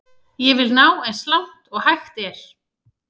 Ég vil ná eins langt og hægt er.